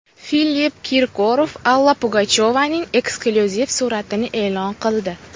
Filipp Kirkorov Alla Pugachyovaning eksklyuziv suratini e’lon qildi.